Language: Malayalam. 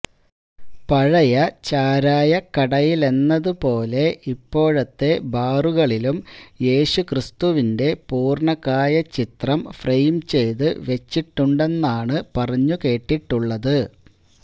പഴയ ചാരായക്കടയിലെന്നതു പോലെ ഇപ്പോഴത്തെ ബാറുകളിലും യേശു ക്രിസ്തുവിന്റെ പൂര്ണകായ ചിത്രം ഫ്രെയിം ചെയ്ത് വെച്ചിട്ടുണ്ടെന്നാണ് പറഞ്ഞു കേട്ടിട്ടുള്ളത്